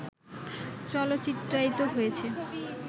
চলচ্চিত্রায়িত হয়েছে